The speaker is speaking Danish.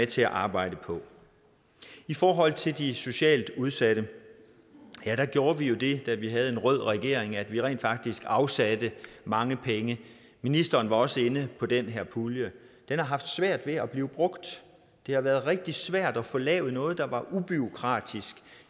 til at arbejde på i forhold til de socialt udsatte gjorde vi jo det da vi havde en rød regering at vi rent faktisk afsatte mange penge ministeren var også inde på den her pulje den har haft svært ved at blive brugt det har været rigtig svært at få lavet noget der er ubureaukratisk